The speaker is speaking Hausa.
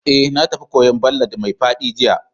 Eh, na tafi kwoyo'n ballad mai faɗi jiya.